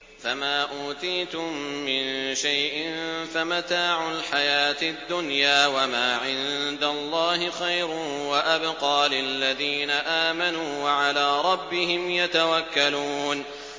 فَمَا أُوتِيتُم مِّن شَيْءٍ فَمَتَاعُ الْحَيَاةِ الدُّنْيَا ۖ وَمَا عِندَ اللَّهِ خَيْرٌ وَأَبْقَىٰ لِلَّذِينَ آمَنُوا وَعَلَىٰ رَبِّهِمْ يَتَوَكَّلُونَ